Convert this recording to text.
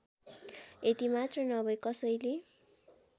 यतिमात्र नभई कसैले